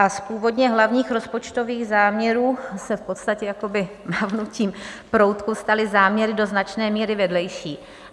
A z původně hlavních rozpočtových záměrů se v podstatě jakoby mávnutím proutku staly záměry do značné míry vedlejší.